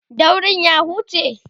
daurin ya huce?